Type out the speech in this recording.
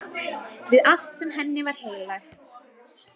Við allt sem henni var heilagt.